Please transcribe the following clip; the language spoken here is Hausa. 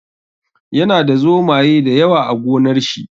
Yana da zomaye da yawa a gonar shi.